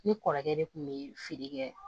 Ne kɔrɔkɛ de kun be feere kɛ